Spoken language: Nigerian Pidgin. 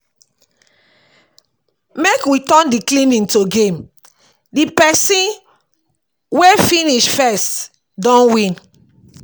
Make we turn di cleaning to game, di pesin wey finish first don win.